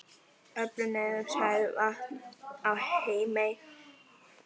Öflun neysluhæfs vatns á Heimaey hefur löngum verið vandamál.